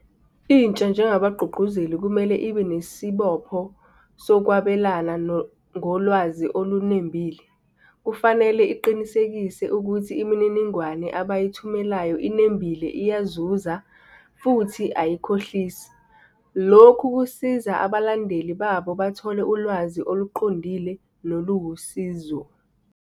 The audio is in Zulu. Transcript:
Intsha njengabagqugquzeli kumele ibe nesibopho sokwabelana ngolwazi olunembile. Kufanele iqinisekise ukuthi imininingwane abayithumelelayo inembile iyazuza futhi ayikhohlisi. Lokhu kusiza abalandeli babo bathole ulwazi oluqondile, noluwusizo.